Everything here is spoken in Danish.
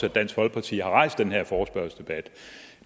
at dansk folkeparti har rejst den her forespørgselsdebat